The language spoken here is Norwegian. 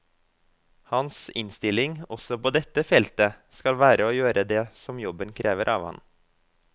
Hans innstilling, også på dette feltet, skal være å gjøre det som jobben krever av ham.